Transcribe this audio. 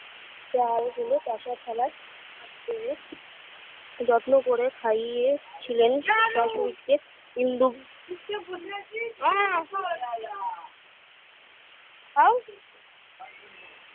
প্রয়েজে হলো কাঁসার থালায় ভাত বেড়ে যত্ন করে খাইয়ে ছিলেন সসরিতকে ইন্দু চুপচাপ বসে আছিস